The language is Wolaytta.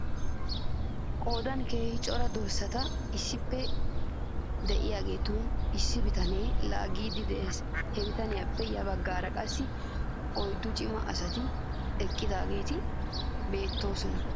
Qoodan keehi cora dorssati issippe de'iyaageeta issi bitanee laaggiiddi de'es. He bitaniyaappe yabagaara qassi oyddu cima asati eqqidaageeti beettoosona .